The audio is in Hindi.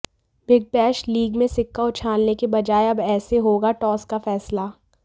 बिग बैश लीग में सिक्का उछालने के बजाय अब ऐसे होगा टॉस का फैसला